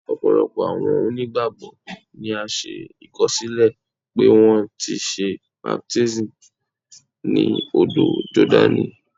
Ọpọlọpọ awọn onígbágbọ ni a ṣe ìkọsilẹ pe wọn ti ṣe baptisi ni ódò Jordaní.